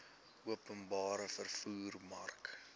openbare vervoer mark